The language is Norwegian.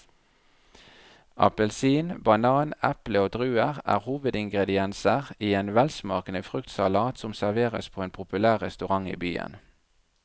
Appelsin, banan, eple og druer er hovedingredienser i en velsmakende fruktsalat som serveres på en populær restaurant i byen.